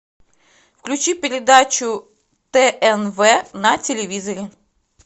включи передачу тнв на телевизоре